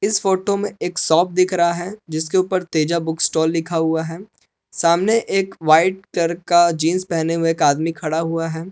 इस फोटो में एक शॉप दिख रहा है जिसके ऊपर तेजा बुक स्टॉल लिखा हुआ है सामने एक वाइट कलर का जींस पहने हुए एक आदमी खड़ा हुआ है।